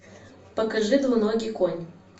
покажи двуногий конь